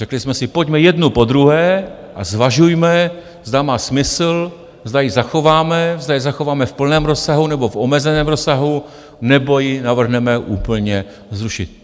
Řekli jsme si: pojďme jednu po druhé a zvažujme, zda má smysl, zda ji zachováme, zda ji zachováme v plném rozsahu nebo v omezeném rozsahu nebo ji navrhneme úplně zrušit.